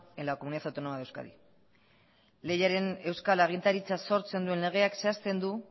en la comunidad autónoma de euskadi lehiaren euskal agintaritza sortzen duen legeak zehazten du